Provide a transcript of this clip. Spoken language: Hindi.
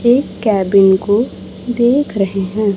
एक केबिन को देख रहे हैं।